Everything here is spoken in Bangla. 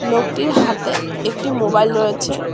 লোকটির হাতে একটি মোবাইল রয়েছে।